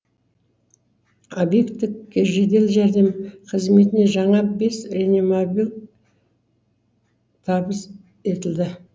обектік жедел жәрдем қызметіне жаңа бес реанимобиль табыс етілді